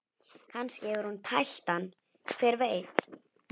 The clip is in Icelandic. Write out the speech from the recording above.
Kannski hefur hún tælt hann, hver veit?